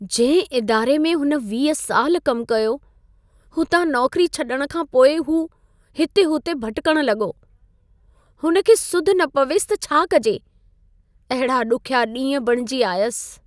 जंहिं इदारे में हुन 20 साल कमु कयो, हुतां नौकरी छॾण खां पोइ हू हिते-हुते भिटिकणु लॻो। हुन खे सुधि न पवेसि त छा कजे। अहिड़ा ॾुखिया ॾींहं बणिजी आयसि।